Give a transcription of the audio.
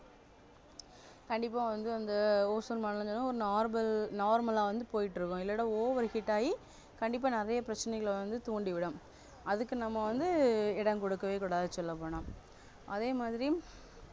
கண்டிப்பா வந்து வந்து ஓசோன் மண்டலம் normal normal ஆ வந்து போயிட்டு இருக்கும் இல்லன்னா over heat ஆகி கண்டிப்பா நிறைய பிரச்சனைகளை வந்து தூண்டிவிடும் அதுக்கு நம்ம வந்து இடம் கொடுக்கவே கூடாது சொல்லப்போனா அதேமாதிரி